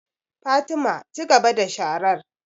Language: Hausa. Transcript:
Fatima, cigaba da sharar